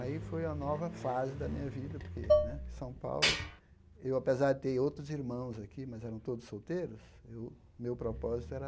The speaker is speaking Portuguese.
Aí foi a nova fase da minha vida, porque né São Paulo, eu apesar de ter outros irmãos aqui, mas eram todos solteiros, eu meu propósito era